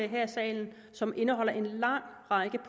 her i salen som indeholder en lang række